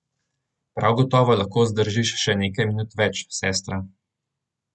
Prav gotovo lahko zdržiš še nekaj minut več, sestra.